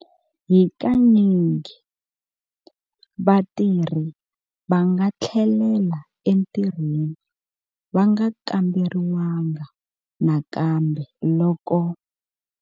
Hi kanyingi, vatirhi va nga tlhelela entirhweni va nga kamberiwanga nakambe loko.